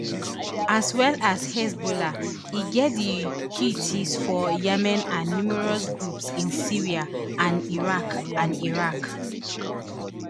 as well as hezbollah e get di houthis for yemen and numerous groups in syria and iraq and iraq